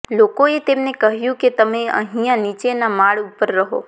લોકોએ તેમને કહ્યું કે તમે અહીંયા નીચેના માળ ઉપર રહો